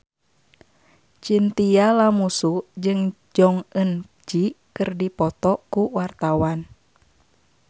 Chintya Lamusu jeung Jong Eun Ji keur dipoto ku wartawan